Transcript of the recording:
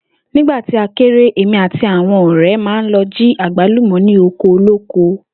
Nígbà tí a kéré, èmi àti àwo̩n ò̩ré̩ máa ń lo̩ jí àgbálùmò̩ ní oko olóko